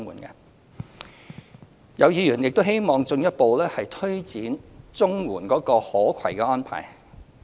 有議員亦希望政府進一步推展綜援的可攜安排。